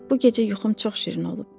Bu gecə yuxum çox şirin olub.